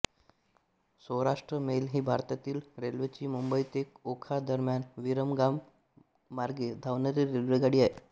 Saurashtra mail ही भारतीय रेल्वेची मुंबई ते ओखा दरम्यान विरमगाम मार्गे धावणारी रेल्वेगाडी आहे